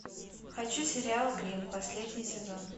хочу сериал гримм последний сезон